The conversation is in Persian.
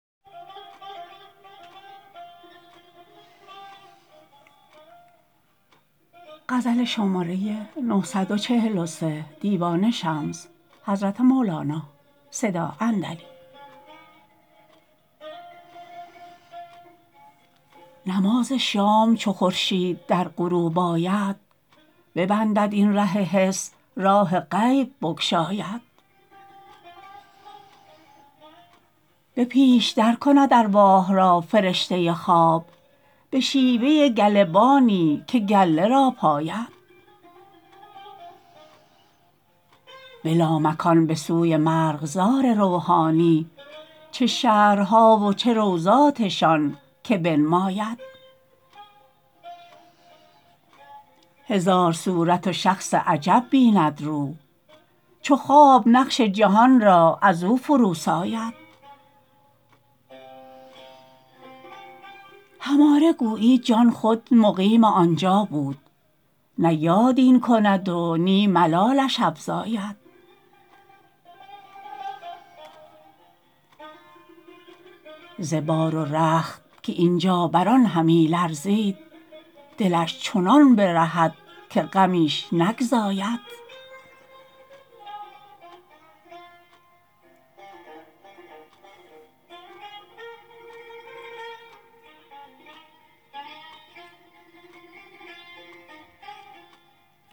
نماز شام چو خورشید در غروب آید ببندد این ره حس راه غیب بگشاید به پیش درکند ارواح را فرشته خواب به شیوه گله بانی که گله را پاید به لامکان به سوی مرغزار روحانی چه شهرها و چه روضاتشان که بنماید هزار صورت و شخص عجب ببیند روح چو خواب نقش جهان را از او فروساید هماره گویی جان خود مقیم آن جا بود نه یاد این کند و نی ملالش افزاید ز بار و رخت که این جا بر آن همی لرزید دلش چنان برهد که غمیش نگزاید